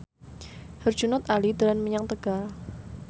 Herjunot Ali dolan menyang Tegal